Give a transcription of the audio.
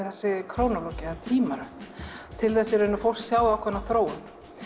þessi krónólógía eða tímaröð til þess að fólk sjái ákveðna þróun